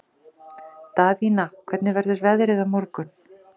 Daðína, hvernig verður veðrið á morgun?